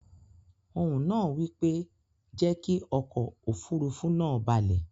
Ohùn nàá wípé, "jẹ́kí okò òfurufú nàá balẹ̀